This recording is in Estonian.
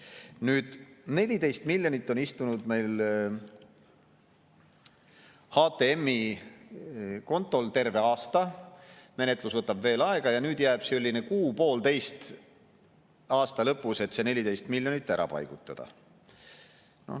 Nüüd, 14 miljonit on istunud meil HTM‑i kontol terve aasta, menetlus võtab veel aega ja nüüd jääb kuu-poolteist aasta lõpus, et see 14 miljonit ära paigutada.